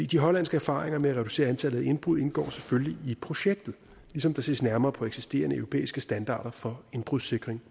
de hollandske erfaringer med at reducere antallet af indbrud indgår selvfølgelig i projektet ligesom der ses nærmere på eksisterende europæiske standarder for indbrudssikring